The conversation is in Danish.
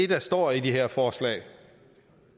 der står i de her forslag